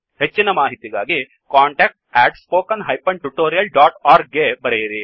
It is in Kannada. ಹೆಚ್ಚಿನ ಮಾಹಿತಿಗಾಗಿ contactspoken tutorialorg ಗೆ ಬರೆಯಿರಿ